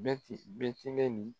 Bɛ te Bɛtelɛni